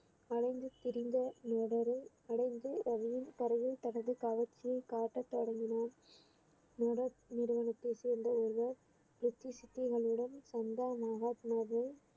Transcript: அலைந்து திரிந்த தனது கவர்ச்சியை காட்டத்தொடங்கினார் நிறுவனத்தை சேர்ந்த ஒருவர் சித்திகளுடன் சந்தா மகாத்மாவில்